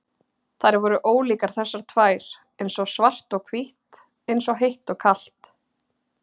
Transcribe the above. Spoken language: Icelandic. Þær voru ólíkar þessar tvær, eins og svart og hvítt, eins og heitt og kalt.